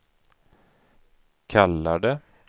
kallade